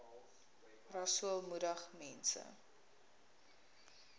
rasool moedig mense